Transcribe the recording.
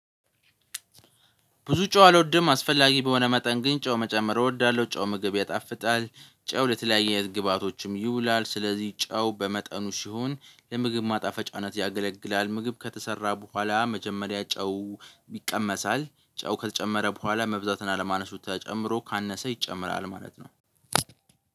ብዙ ጨው አልወድም አስፈላጊ በሆነ መጠን ግን ጨው መጨመር እወዳለሁ ጨው ምግብ ያጣፍጣል ጨው ለተለያየ ግብአቶችም ይውላል ስለዚህ ጨው በመጠኑ ሲሆን ለምግብ ማጣፈጫነት ያገለግላል። ምግብ ከተሰራ በኋላ መጀመሪያ ጨው ይቀመሳል ጨው ከተጨመረ በኋላ መብዛትን አለማነሱ ተጨምሮ ካነሰ ይጨምራል ማለት ነው።